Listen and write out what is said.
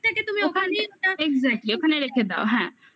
তুমি ওখানে exactly ওখানে রেখে দাও. হ্যাঁ